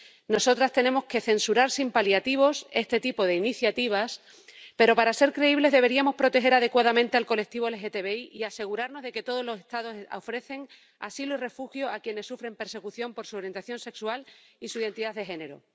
Nosotras tenemos que censurar sin paliativos este tipo de iniciativas, pero, para ser creíbles, deberíamos proteger adecuadamente al colectivo LGTBI y asegurarnos de que todos los Estados ofrecen asilo y refugio a quienes sufren persecución por su orientación sexual y su identidad de género.